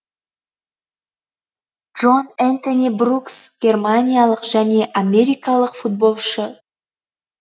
джон энтони брукс германиялық және америкалық футболшы